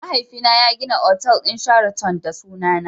Mahaifina ya gina otal din sheraton da sunana.